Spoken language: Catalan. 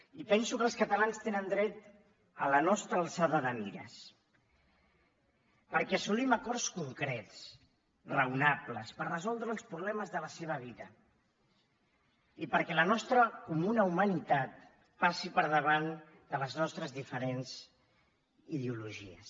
i penso que els catalans tenen dret a la nostra alçada de mires perquè assolim acords concrets raonables per resoldre els problemes de la seva vida i perquè la nostra comuna humanitat passi per davant de les nostres diferents ideologies